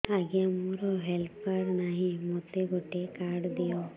ଆଜ୍ଞା ମୋର health card ନାହିଁ ମୋତେ ଗୋଟେ କାର୍ଡ ଦିଅ